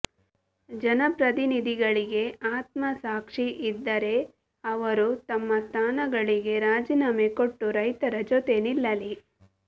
ಜನಪ್ರತಿನಿಧಿಗಳಿಗೆ ಆತ್ಮಸಾಕ್ಷಿ ಇದ್ದರೆ ಅವರು ತಮ್ಮ ಸ್ಥಾನಗಳಿಗೆ ರಾಜೀನಾಮೆ ಕೊಟ್ಟು ರೈತರ ಜೊತೆ ನಿಲ್ಲಲಿ